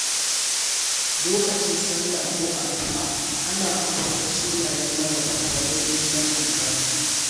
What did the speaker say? Lokacin sallah ko addu’a, ana ambaton sunayen magabata don neman albarka.